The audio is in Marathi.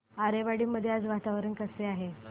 आरेवाडी मध्ये आज वातावरण कसे आहे